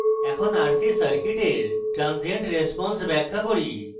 এখন rc circuit transient response ব্যাখ্যা করব